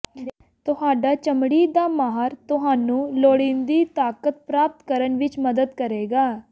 ਤੁਹਾਡਾ ਚਮੜੀ ਦਾ ਮਾਹਰ ਤੁਹਾਨੂੰ ਲੋੜੀਂਦੀ ਤਾਕਤ ਪ੍ਰਾਪਤ ਕਰਨ ਵਿੱਚ ਮਦਦ ਕਰੇਗਾ